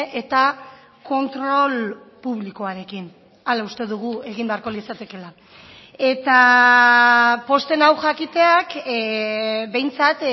eta kontrol publikoarekin hala uste dugu egin beharko litzatekeela eta pozten nau jakiteak behintzat